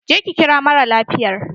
Je ki kira mara lafiyar!